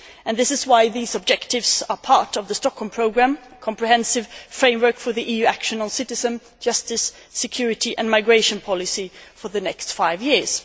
This is why these objectives are part of the Stockholm Programme comprehensive framework for EU action on the citizens, justice, security and migration policy for the next five years.